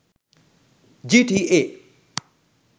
gta